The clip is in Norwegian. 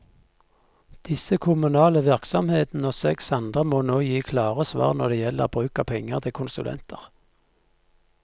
Disse kommunale virksomhetene og seks andre må nå gi klare svar når det gjelder bruk av penger til konsulenter.